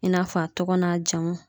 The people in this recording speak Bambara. I n'a fɔ a tɔgɔ n'a jamu